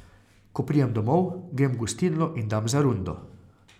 Ko pridem domov, grem v gostilno in dam za rundo.